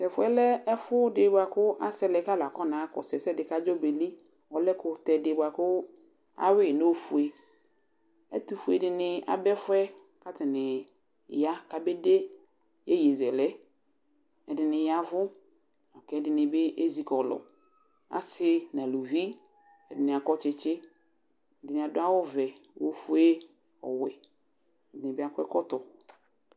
Tɛfʋɛ lɛ ɛfʋ dɩ bʋakʋ asɛlɛ k' alʋ akɔ naɣa akɔsʋ ɛsɛ dɩ bʋa kadzɔ beli Ɔlɛ ɛkʋtɛ dɩ bʋa kʋ ayʋɩ nʋ ofueƐtʋ fue dɩnɩ abɛfʋɛ, katanɩ ya kabe de yeyezɛlɛ; ɛdɩnɩ yavʋ, kɛdɩnɩ bɩ ezikɔlʋAsɩ naluvi, ɛdɩnɩ akɔtsɩtsɩ, ɛdɩnɩ adʋ awʋ vɛ, ofue, ɔwɛ ɛdɩnɩ bɩ akɔ ɛkɔtɔ